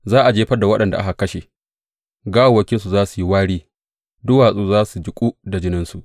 Za a jefar da waɗanda aka kashe gawawwakinsu za su yi wari; duwatsu za su jiƙu da jininsu.